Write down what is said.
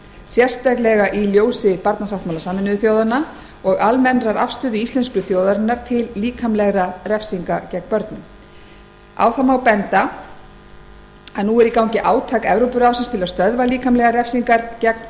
sérstaklega í ljósi barnasáttmála sameinuðu þjóðanna og almennrar afstöðu íslensku þjóðarinnar til líkamlegra refsinga gegn börnum þá má benda á að nú er í gangi átak evrópuráðsins til að stöðva líkamlegar refsingar gegn